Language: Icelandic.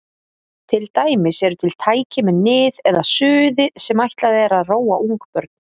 Til dæmis eru til tæki með nið eða suði sem ætlað er að róa ungbörn.